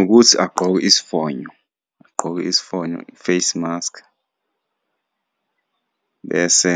Ukuthi agqoke isifonyo, agqoke isifonyo, i-facemasks, bese